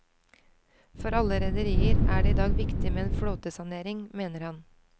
For alle rederier er det i dag viktig med en flåtesanering, mener han.